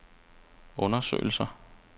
undersøgelser